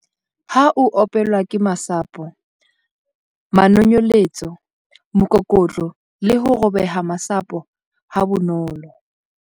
A -Ho opelwa ke masapo, manonyeletso, mokokotlo le ho robeha masapo ha bonolo.